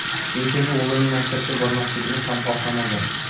Lekin o‘g‘lining maktabga bormasligini ham xohlamagan.